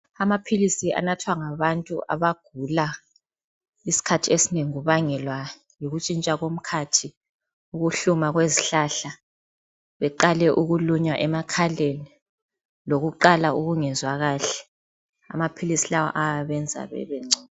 Amaphilisi anathwa ngabantu abagula isikhathi esinengi kubangelwa yikutshintsha komkhathi, ukuhluma kwezihlahla, beqale ukulunywa emakhaleni lokuqala ukungezwa kahle .Amaphilisi lawa ayabenza bebengcono.